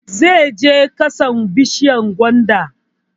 Zai je ƙasan bishiyar gwanda